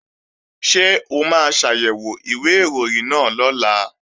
Ṣé o máa ṣàyẹ̀wò ìwé ìròyìn náà lọ́la?